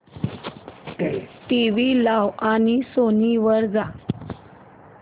TV लाव आणि Sony वर जा